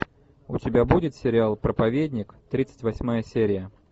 у тебя будет сериал проповедник тридцать восьмая серия